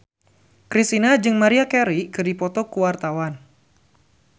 Kristina jeung Maria Carey keur dipoto ku wartawan